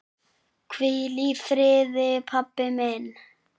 Hvíl í friði, pabbi minn.